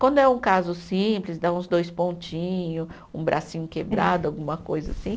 Quando é um caso simples, dá uns dois pontinho, um bracinho quebrado, alguma coisa assim.